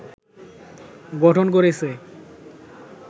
গঠন করেছে